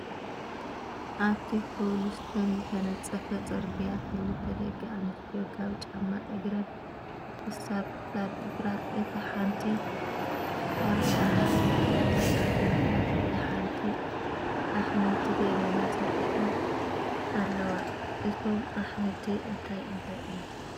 ኣብቲ ከውልስቶን ዝተነፃፈ ፅርግያ ክልተ ደቂ ኣነስትዮ ካብ ጫማ እግረን ክሳብ ክሳድ እግራ እታ ሓንቲ ካብ ጫማ እግራ ክሳብ ብርካ እታ ሓንቲ ኣሕምልቲ ገደና ሰጢሐን ኣለዋ? እተም ኣሕምልቲ እንታይ እንታይ እዮም?